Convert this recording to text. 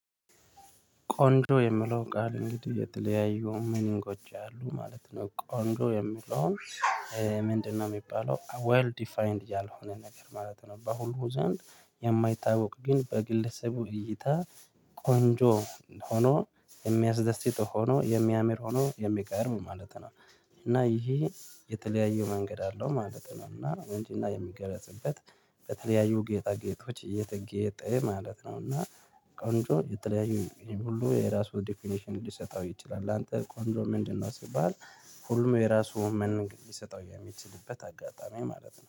ቆንጆ የምለው ቃል እንግዲህ እየተለያዩ ሚኒንጎች አሉ ማለት ነው ቆንጆ የምለው። ምንድነው የሚባለው ዌል ዲፋይንድ ያልሆነ ነገር ማለት ነው። በሁሉ ዘንድ የማይታወቅ ግን በግለሰቡ እይታ ቆንጆ ሆኖ የሚያስደስት ሆኖ የሚያምር ሆኖ የሚቀርብ ማለት ነው። እና ይሄ የተለያዩ መንገድ አለው ማለት ነው። እና ቁንጅና የሚገለጽበት በተለያዩ ጌጣጌጦች እየተጌጠ ማለት ነው። እና ቆንጆ የተለያዩ ሁሉ የራሱ ዴፊኔሽን ሊሰጠው ይችላል። ላንተ ቆንጆ ምንድነው? ሲባል ሁሉም የራሱ ምኒንግ ሊሰጠው የሚችልበት አጋጣሚ ማለት ነው